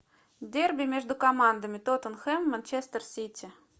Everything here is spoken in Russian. дерби между командами тоттенхэм манчестер сити